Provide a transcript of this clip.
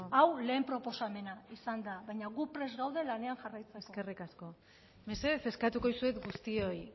hau lehen proposamena izan da baina gu prest gaude lanean jarraitzeko eskerrik asko mesedez eskatuko dizuet guztioi